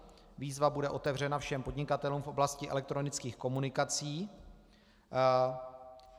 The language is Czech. Výzva bude otevřena všem podnikatelům v oblasti elektronických komunikací.